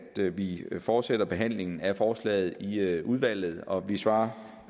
vi fortsætter behandlingen af forslaget i i udvalget og svarer